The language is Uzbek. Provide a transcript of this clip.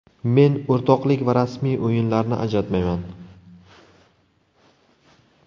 Men o‘rtoqlik va rasmiy o‘yinlarni ajratmayman.